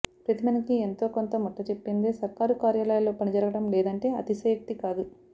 ప్రతి పనికి ఎంతో కొంత ముట్టజెప్పందే సర్కారు కార్యాలయాల్లో పనిజరగడం లేదంటే అతిశయోక్తి కాదు